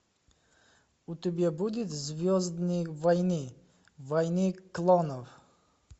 у тебя будет звездные войны войны клонов